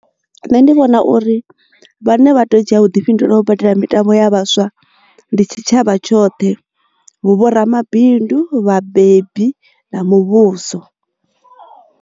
Nṋe ndi vhona uri vhane vha teo dzhia vhuḓifhinduleli u badela mitambo ya vhaswa ndi tshitshavha tshoṱhe hu vho ramabindu, vhabebi na muvhuso.